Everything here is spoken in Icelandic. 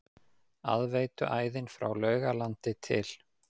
Aðveituæðin frá Laugalandi til